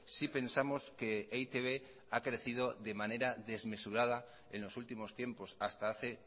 sí pensamos que e i te be ha crecido de manera desmesurada en los últimos tiempos hasta hace